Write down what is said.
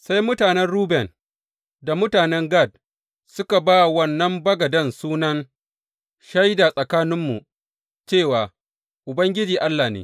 Sai mutanen Ruben da mutanen Gad suka ba wa wannan bagaden sunan, Shaida Tsakaninmu, cewa Ubangiji Allah ne.